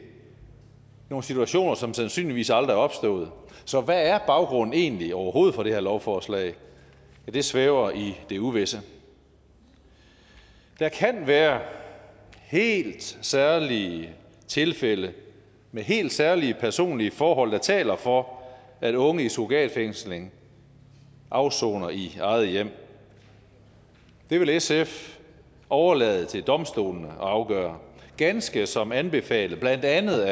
nogle situationer som sandsynligvis aldrig er opstået så hvad er baggrunden egentlig overhovedet for det her lovforslag ja det svæver i det uvisse der kan være helt særlige tilfælde med helt særlige personlige forhold der taler for at unge i surrogatfængsling afsoner i eget hjem det vil sf overlade til domstolene at afgøre ganske som anbefalet af blandt andet